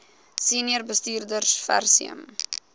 senior bestuurders versuim